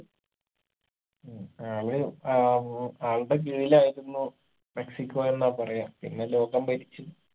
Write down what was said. ഉം അയാള് ഏർ ഉം ആൾടെ കീഴിലായിരുന്നു മെക്സിക്കോ എന്നാ പറയാ പിന്ന ലോകം ഭരിച്ചു